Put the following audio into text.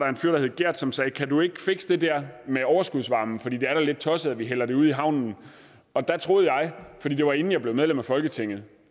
en fyr gert som sagde kan du ikke fikse det der med overskudsvarme for det er da lidt tosset at vi hælder det ud i havnen da troede jeg for det var inden jeg blev medlem af folketinget